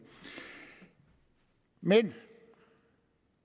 men